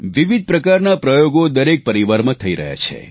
વિવિધ પ્રકારના પ્રયોગો દરેક પરિવારમાં થઈ રહ્યા છે